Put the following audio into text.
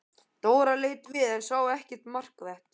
Dóra leit við en sá ekkert markvert.